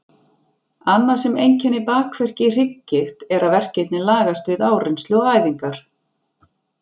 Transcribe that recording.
Annað sem einkennir bakverki í hrygggigt er að verkirnir lagast við áreynslu og æfingar.